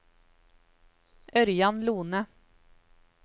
Ørjan Lohne